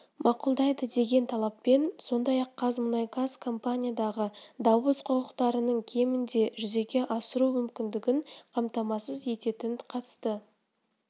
мақұлдайды деген талаппен сондай-ақ қазмұнайгаз компаниядағы дауыс құқықтарының кемінде жүзеге асыру мүмкіндігін қамтамасыз ететін қатысты